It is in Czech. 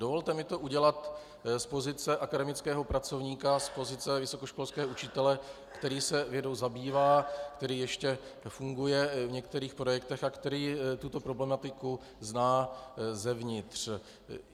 Dovolte mi to udělat z pozice akademického pracovníka, z pozice vysokoškolského učitele, který se vědou zabývá, který ještě funguje v některých projektech a který tuto problematiku zná zevnitř.